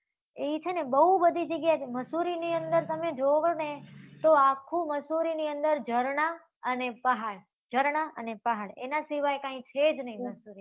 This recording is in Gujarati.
ઈ છે ને, બહુ બધી જગ્યાએ થી, મસૂરીની અંદર તમે જોવો ને, તો આખુ મસૂરીની અંદર ઝરણાં અને પહાડ, ઝરણાંં અને પહાડ એના સિવાય કાંઈ છે જ નહી મસૂરીની અંદર